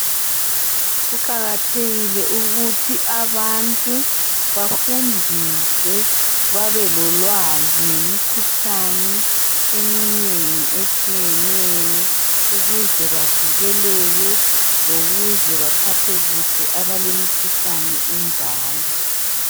Kuqakathekile ukuthi abantu bafundiswe bebelolwazi ngemikhuhlane etshiyeneyo ukuze bavikeleke lokuze baphathe kuhle abalemikhuhlane enjalo